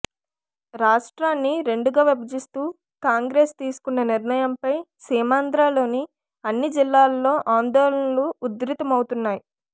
రాష్ట్రాన్ని రెండుగా విభజిస్తూ కాంగ్రెస్ తీసుకున్న నిర్ణయంపై సీమాంధ్రలోని అన్ని జిల్లాల్లో ఆందోళనలు ఉధృతమవుతున్నాయి